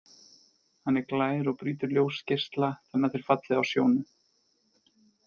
Hann er glær og brýtur ljósgeisla þannig að þeir falli á sjónu.